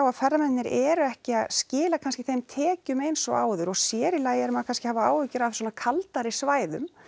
að ferðamennirnir eru ekki að skila kannski þeim tekjum eins og áður og sér í lagi erum við kannski að hafa áhyggjur af svona kaldari svæðum